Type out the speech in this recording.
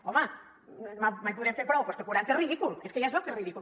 home mai podrem fer prou però és que quaranta és ridícul és que ja es veu que és ridícul